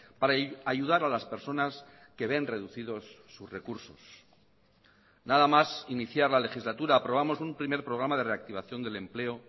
para ayudar a las personas que ven reducidos sus recursos nada más iniciar la legislatura aprobamos un primer programa de reactivación del empleo